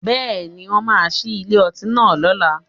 Bẹ́ẹ̀ni, wọ́n máa ṣí ilé ọtí náà lọ́la